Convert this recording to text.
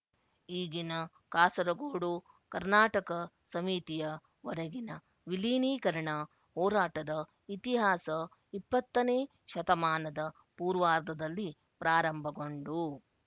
ಈಗಿನ ಕಾಸರಗೋಡು ಕರ್ನಾಟಕ ಸಮಿತಿಯ ವರೆಗಿನ ವಿಲೀನೀಕರಣ ಹೋರಾಟದ ಇತಿಹಾಸ ಇಪ್ಪತ್ತನೇ ಶತಮಾನದ ಪೂವಾರ್ಧದಲ್ಲಿ ಪ್ರಾರಂಭಗೊಂಡು